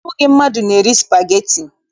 Ọ bụghị mmadụ na-eri spageti